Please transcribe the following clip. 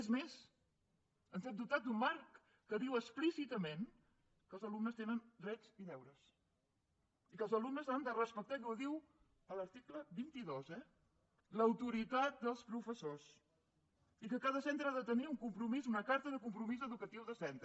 és més ens hem dotat d’un marc que diu explícitament que els alumnes tenen drets i deures i que els alumnes han de respectar i ho diu l’article vint dos l’autoritat dels professors i que cada centre ha de tenir una carta de compromís educatiu de centre